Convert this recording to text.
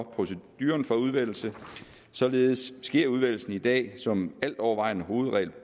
proceduren for udvælgelse således sker udvælgelsen i dag som altovervejende hovedregel